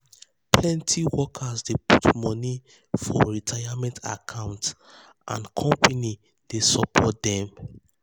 plenty um workers dey put money um for retirement account and dem company dey um support dem.